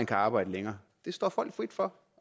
kan arbejde længere det står folk frit for